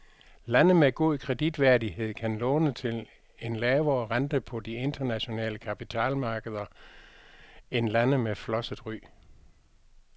Lande med god kreditværdighed kan låne til en lavere rente på de internationale kapitalmarkeder end lande med flosset ry.